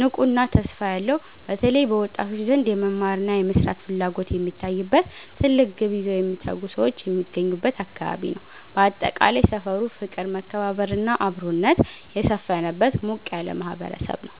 ንቁና ተስፋ ያለው፦ በተለይ በወጣቶች ዘንድ የመማርና የመስራት ፍላጎት የሚታይበት፣ ትልቅ ግብ ይዘው የሚተጉ ሰዎች የሚገኙበት አካባቢ ነው። ባጠቃላይ፣ ሰፈሩ ፍቅር፣ መከባበርና አብሮነት የሰፈነበት ሞቅ ያለ ማህበረሰብ ነው።